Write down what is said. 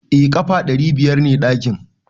Eh ƙafa ɗari biyar ne ɗakin.